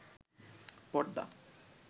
পর্দা